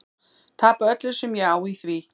Tapa öllu sem ég á í því.